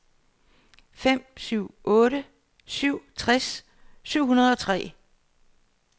fem syv otte syv tres syv hundrede og tre